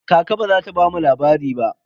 Kaka ba za ta bamu labari ba.